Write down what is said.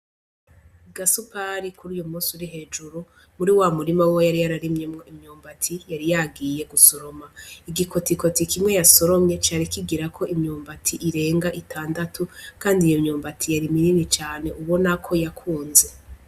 Gasupari kuri uyu musi uri hejuru muri wa murima wiwe yari yararimye mwo imyumbati yari yagiye gusoroma igikotikoti kimwe yasoromye cari kigirako imyumbati irenga itandatu kandi iyo myumbati yari minini cane ubona ko yakunze.